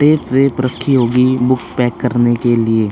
tape वेप रखी होगी बुक पैक करने के लिए --